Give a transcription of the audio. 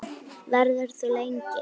Verður þú lengi?